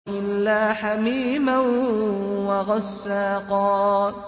إِلَّا حَمِيمًا وَغَسَّاقًا